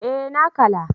Eh na kala